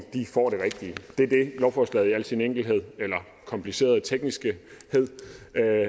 får det rigtige det er det lovforslaget i al sin enkelhed eller komplicerede tekniskhed